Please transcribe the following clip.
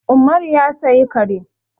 Umaru ya saya kare.